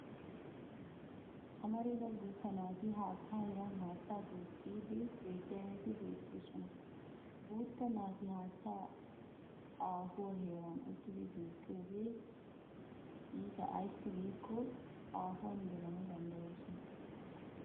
Amarida guutta naati haattaa heeran haattaa duuqqiddi diyageeti beetoosona. Guutta naati haattaa aafuwaa heran uttidi duuqqiyoogee iita ayssi giikko aafuwan gelana danddoyoosona.